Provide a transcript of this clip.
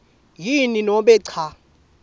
yini nobe cha